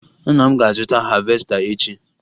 Nna m ga-azụta havesta echi